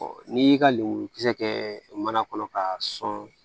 n'i y'i ka lemuru kisɛ kɛ mana kɔnɔ k'a sɔn